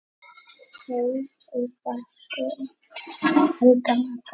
Hrólfur var sonur Helga magra.